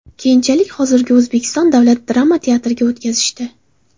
Keyinchalik hozirgi O‘zbek davlat drama teatriga o‘tkazishdi.